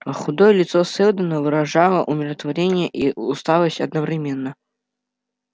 аа худое лицо сэлдона выражало умиротворение и усталость одновременно